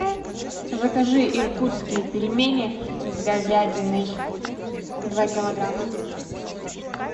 закажи иркутские пельмени с говядиной два килограмма